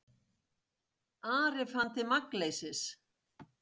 Ari fann til magnleysis.